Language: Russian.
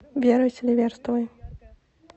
верой селиверстовой